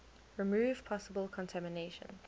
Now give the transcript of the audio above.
remove possible contamination